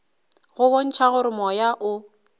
go bontšha gore moya o